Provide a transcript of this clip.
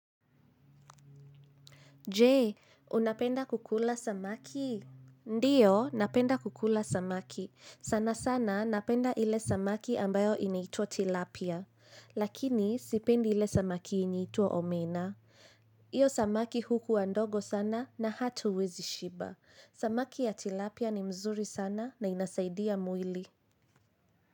Je, unapenda kukula samaki? Ndiyo, napenda kukula samaki. Sana sana napenda ile samaki ambayo inaitwa tilapia. Lakini sipendi ile samaki inaitwa omena. Hiyo samaki hukuwa ndogo sana na hatuwezi shiba. Samaki ya tilapia ni mzuri sana na inasaidia mwili.